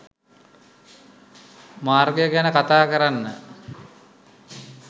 මාර්ගය ගැන කතා කරන්න